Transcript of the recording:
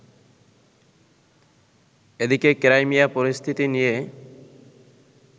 এদিকে, ক্রাইমিয়া পরিস্থিতি নিয়ে